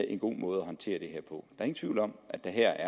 en god måde at håndtere det her på der er ingen tvivl om at der